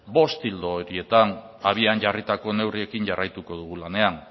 bost ildo horietan abian jarritako neurriekin jarraituko dugu lanean